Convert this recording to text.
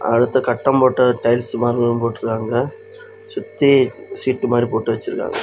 அடுத்த கட்டம் போட்ட டைல்ஸ் மார்பிளும் போட்டுருக்காங்க சுத்தி சீட்டு மாறி போட்டு வச்சிருக்காங்க.